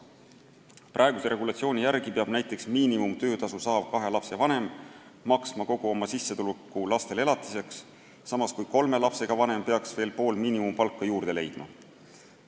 Praeguse regulatsiooni järgi peab näiteks miinimumtöötasu saav kahe lapse vanem maksma kogu oma sissetuleku lastele elatiseks, samas kui kolme lapsega vanem peaks veel pool miinimumpalka juurde leidma.